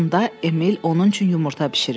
Onda Emil onun üçün yumurta bişirir.